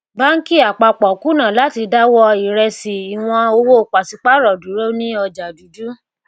báńkì àpapọ kùnà láti dáwọ ìrẹsí ìwọn owó paṣípààrọ dúró ní ọjà dúdú